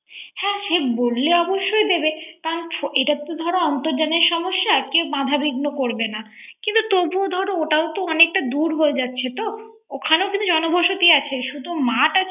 বললে অবশ্যই দিবে । করান এটা তো ধর অর্ন্তজানের সমস্যা কেউ বাঁধা বিঘ্ন করবেন। তবু ও ধর ওটাও অনেক দূর হয়ে যাচ্ছে তো ওখানেও জন বসতি আছে।